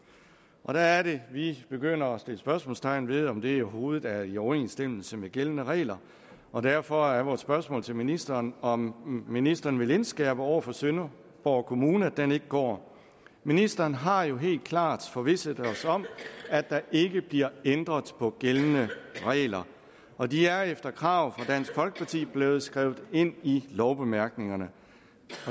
der er det vi begynder at sætte spørgsmålstegn ved om det overhovedet er i overensstemmelse med gældende regler og derfor er vores spørgsmål til ministeren om ministeren vil indskærpe over for sønderborg kommune at den ikke går ministeren har jo helt klart forvisset os om at der ikke bliver ændret på gældende regler og de er efter krav fra dansk folkeparti blevet skrevet ind i lovbemærkningerne